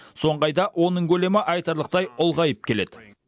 соңғы айда оның көлемі айтарлықтай ұлғайып келеді